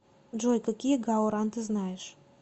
джой какие гао ран ты знаешь